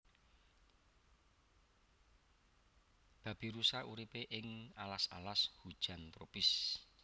Babirusa uripe ing alas alas hujan tropis